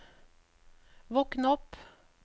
våkn opp